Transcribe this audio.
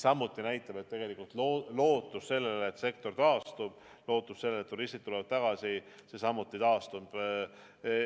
See näitab, et tegelikult lootus sellele, et sektor taastub, lootus sellele, et turistid tulevad tagasi, samuti taastub.